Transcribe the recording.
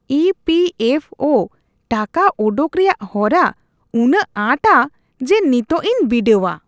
E P F O (EPFO) ᱴᱟᱠᱟ ᱚᱰᱚᱠ ᱨᱮᱭᱟᱜ ᱦᱚᱨᱟ ᱩᱱᱟᱹᱜ ᱟᱸᱴᱟ ᱡᱮ ᱱᱤᱛᱚᱜ ᱤᱧ ᱵᱤᱰᱟᱹᱣᱟ ᱾